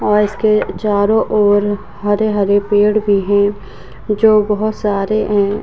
और इसके चारों ओर हरे-हरे पेड़ भी हैं जो बहोत सारे हैं।